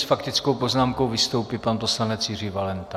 S faktickou poznámkou vystoupí pan poslanec Jiří Valenta.